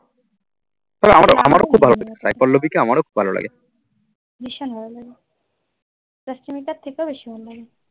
ভীষণ ভালো লাগে রাস্মিকার থেকেও বেশি ভালো লাগে।